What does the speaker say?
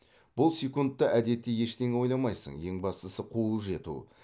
бұл секундта әдетте ештеңе ойламайсың ең бастысы қуып жету